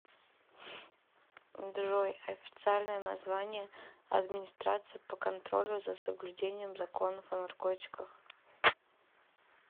джой официальное название администрация по контролю за соблюдением законов о наркотиках